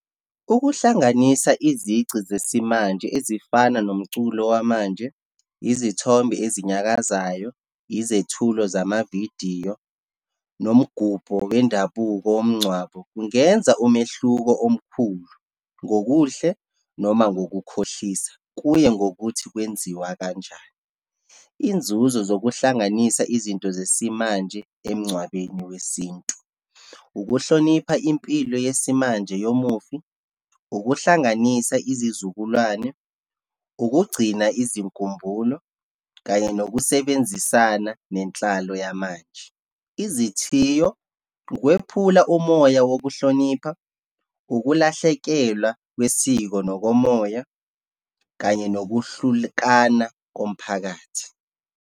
Ukuhlanganisa izici zesimanje ezifana nomculo wamanje, izithombe ezinyakazayo, izethulo zamavidiyo, nomgubho wendabuko womngcwabo. Kungenza umehluko omkhulu, ngokuhle noma ngokukhohlisana, kuye ngokuthi kwenziwa kanjani. Inzuzo zokuhlanganisa izinto zesimanje emngcwabeni wesintu, ukuhlonipha impilo yesimanje yomufi, ukuhlanganisa izizukulwane, ukugcina izinkumbulo kanye nokusebenzisana nenhlalo yamanje. Izithiyo, ukwephula umoya wokuhlonipha, ukulahlekelwa kwesiko nokomoya kanye nokuhlukana komphakathi.